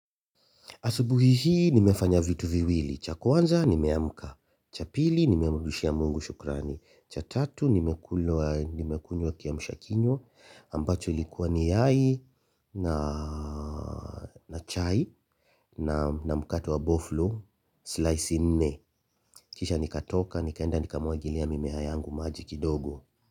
Asubuhi hii nimefanya vitu viwili, cha kwanza nimeamka, cha pili nimemrudishia Mungu shukrani, cha tatu nimekunywa kiamsha kinywa, ambacho likuwa ni yai na na chai na mkate wa boflo, slice nne. Kisha nikatoka, nikaenda nikamwagilia mimea yangu maji kidogo.